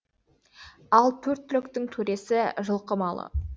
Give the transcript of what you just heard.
ал төрт түліктің төресі жылқы малы